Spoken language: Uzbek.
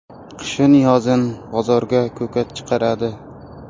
Qishin-yozin bozorga ko‘kat chiqaradi.